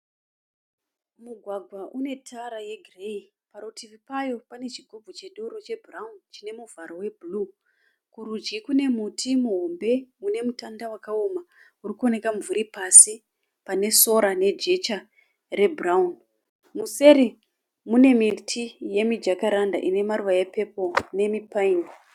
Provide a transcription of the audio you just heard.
Mugwagwa une tara yegireyi. Parutivi pawo pane chigubhu chedoro chebhurawuni chine muvharo webhuru. Kurudyi kune muti muhombe une mutanda wakaoma uri kuoneka mumvuri pasi pane sora nejecha rebhurawuni. Museri mune miti yemijakaranda ine maruva epepuro nemipaini.